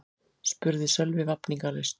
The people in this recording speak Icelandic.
spurði Sölvi vafningalaust.